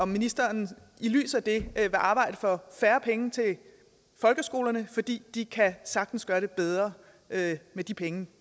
ministeren i lyset af det arbejde for færre penge til folkeskolerne fordi de sagtens kan gøre det bedre med de penge